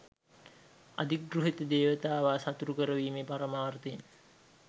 අධිගෘහිත දේවතාවා සතුටු කරවීමේ පරමාර්ථයෙන්